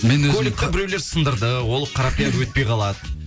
мен өзім көлікті біреулер сындырды ол қара пиар өтпей қалады